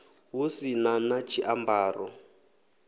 hu si na na tshiambaro